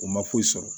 O ma foyi sɔrɔ